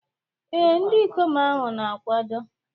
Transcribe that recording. Ee, ndị ikom ahụ na-akwado.